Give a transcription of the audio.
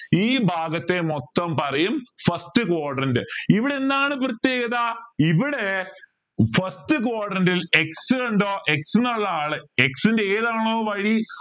ഈ ഭാഗത്തെ മൊത്തം പറയും first quadrant ഇവിടെ എന്താണ് പ്രത്യേകത ഇവിടെ first quadrant ൽ x കണ്ടോ x ന്നുള്ള ആള് x ൻ്റെ ഏതാണോ y